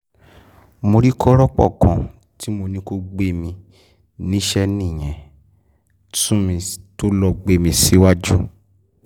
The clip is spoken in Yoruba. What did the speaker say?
mo rí kọ́rọ́pọ̀ kan tí mo ní kó gbé mi níṣẹ́ nìyẹn tún fẹ́ẹ́ lọ́ọ́ sọ mí síwájú wọn